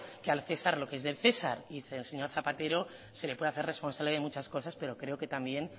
que al cesar lo que es del cesar y al señor zapatero se le puede hacer responsable de muchas cosas pero creo que también